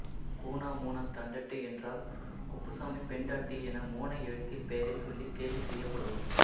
கூனா மூனா தண்டட்டி என்றால் குப்புசாமி பெண்டாட்டி என மோனை எழுத்தில் பெயரைச் சொல்லிக் கேலி செய்யப்படுவார்